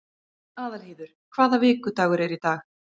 Aðalheiður, hvaða vikudagur er í dag?